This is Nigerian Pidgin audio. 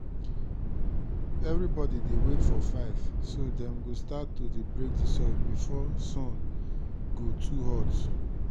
evribodi dey wake for five so dem go start to dey break di soil before sun go too hot.